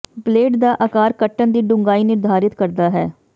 blade ਦਾ ਆਕਾਰ ਕੱਟਣ ਦੀ ਡੂੰਘਾਈ ਨਿਰਧਾਰਤ ਕਰਦਾ ਹੈ